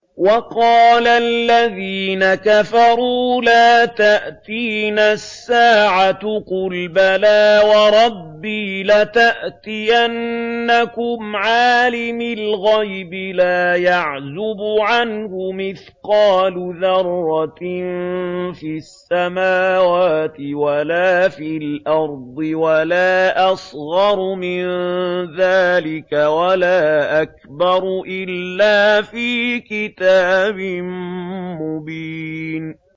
وَقَالَ الَّذِينَ كَفَرُوا لَا تَأْتِينَا السَّاعَةُ ۖ قُلْ بَلَىٰ وَرَبِّي لَتَأْتِيَنَّكُمْ عَالِمِ الْغَيْبِ ۖ لَا يَعْزُبُ عَنْهُ مِثْقَالُ ذَرَّةٍ فِي السَّمَاوَاتِ وَلَا فِي الْأَرْضِ وَلَا أَصْغَرُ مِن ذَٰلِكَ وَلَا أَكْبَرُ إِلَّا فِي كِتَابٍ مُّبِينٍ